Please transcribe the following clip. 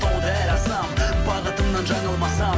тауды әрі асамын бағытымнан жаңылмасам